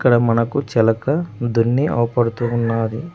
ఇక్కడ మనకు చిలక దున్ని అవపడుతూ ఉన్నది.